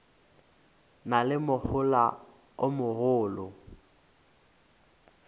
na le mohola o mogolo